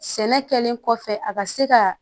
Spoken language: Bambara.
Sɛnɛ kɛlen kɔfɛ a ka se ka